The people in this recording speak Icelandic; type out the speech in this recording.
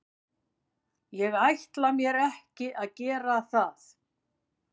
Ég ætla mér ekki að gera það.